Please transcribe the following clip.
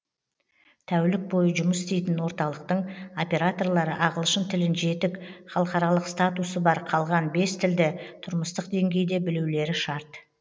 тәулік бойы жұмыс істейтін орталықтың операторлары ағылшын тілін жетік халықаралық статусы бар қалған бес тілді тұрмыстық деңгейде білулері шарт